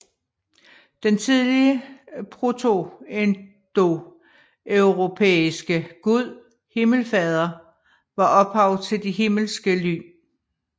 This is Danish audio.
Den tidlige protoindoeuropæiske gud Himmelfader var ophav til de himmelske lyn